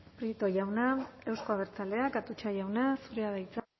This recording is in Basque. prieto jauna euzko abertzaleak atutxa jauna zurea da hitza